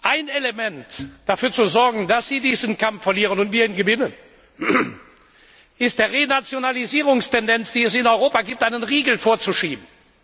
Ein Element, um dafür zu sorgen, dass sie diesen Kampf verlieren und wir ihn gewinnen, ist, der Renationalisierungstendenz, die es in Europa gibt, einen Riegel vorzuschieben.